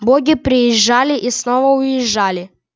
боги приезжали и снова уезжали